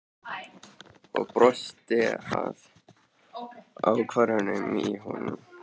Og brosti að ákafanum í honum.